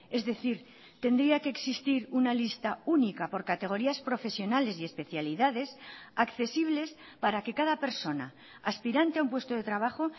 es decir tendría que existir una lista única por categorías profesionales y especialidades accesibles para que cada persona aspirante a un puesto de trabajo